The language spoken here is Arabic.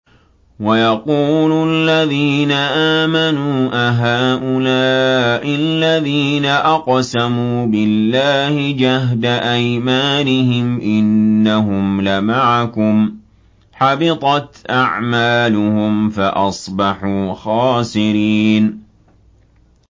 وَيَقُولُ الَّذِينَ آمَنُوا أَهَٰؤُلَاءِ الَّذِينَ أَقْسَمُوا بِاللَّهِ جَهْدَ أَيْمَانِهِمْ ۙ إِنَّهُمْ لَمَعَكُمْ ۚ حَبِطَتْ أَعْمَالُهُمْ فَأَصْبَحُوا خَاسِرِينَ